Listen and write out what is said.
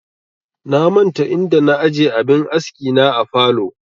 Na manta inda na aje abin aski na a falow